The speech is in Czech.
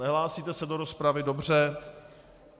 Nehlásí se do rozpravy, dobře.